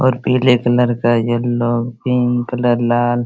और पीले कलर का येलो पिंक कलर लाल --